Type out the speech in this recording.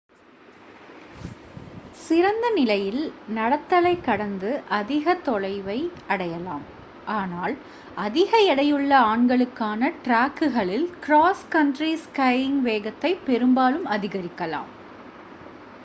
சிறந்த நிலையில் நடத்தலை கடந்து அதிக தொலைவை அடையலாம் ஆனால் அதிக எடையுள்ள ஆண்களுக்கான ட்ராக்குகளில் க்ராஸ் கண்ட்ரி ஸ்கையிங் வேகத்தை பெரும்பாலும் அதிகரிக்கலாம்